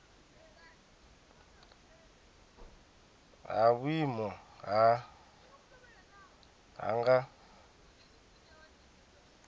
ha vhuimo ha nha nga